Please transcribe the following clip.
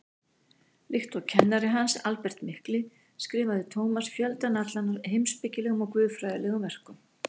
Líkt og kennari hans, Albert mikli, skrifaði Tómas fjöldann allan af heimspekilegum og guðfræðilegum verkum.